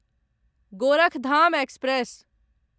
Gorakhdham express